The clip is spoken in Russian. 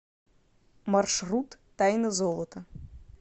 маршрут тайна золота